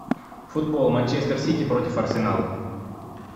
футбол манчестер сити против арсенала